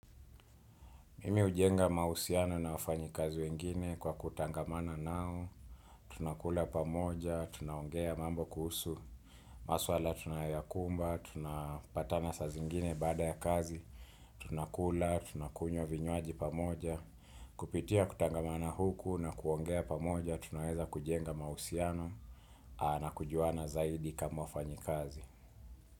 Mimi hujenga mahusiana na wafanyi kazi wengine kwa kutangamana nao, tunakula pamoja, tunaongea mambo kuhusu, maswala tunayakumba, tunapatana saa zingine baada ya kazi, tunakula, tunakunywa vinywaji pamoja, kupitia kutangamana huku na kuongea pamoja, tunaweza kujenga mahusiano na kujuana zaidi kama wafanyi kazi.